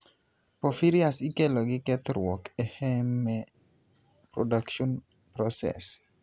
porphyrias ikelo gi kethruok e heme production process